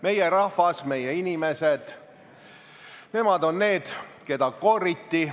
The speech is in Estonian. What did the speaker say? Meie rahvas, meie inimesed – nemad on need, keda kooriti.